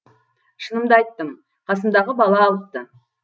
шынымды айттым қасымдағы бала алыпты